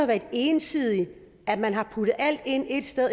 været ensidigt for man har puttet alt ind et sted